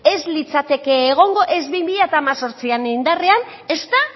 ez litzateke egongo ez bi mila hemezortzian indarrean ezta